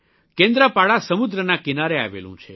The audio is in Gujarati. કેન્દ્રપાડા સમુદ્રના કિનારે આવેલું છે